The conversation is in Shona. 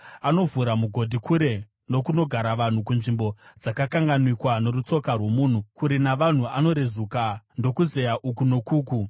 Anovhura mugodhi kure nokunogara vanhu, kunzvimbo dzakakanganikwa norutsoka rwomunhu; kure navanhu anorezuka ndokuzeya uku nokuku.